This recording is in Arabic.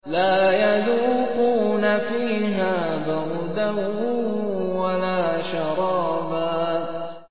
لَّا يَذُوقُونَ فِيهَا بَرْدًا وَلَا شَرَابًا